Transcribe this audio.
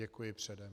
Děkuji předem.